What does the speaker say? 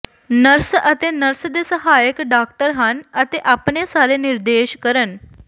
nurse ਅਤੇ nurse ਦੇ ਸਹਾਇਕ ਡਾਕਟਰ ਹਨ ਅਤੇ ਆਪਣੇ ਸਾਰੇ ਨਿਰਦੇਸ਼ ਕਰਨ